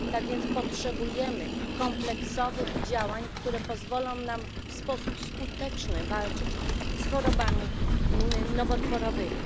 Tak więc potrzebujemy kompleksowych działań, które pozwolą nam w sposób skuteczny walczyć z chorobami nowotworowymi.